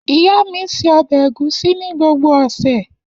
Iya mi se ọbẹ Egusi ni gbogbo ose.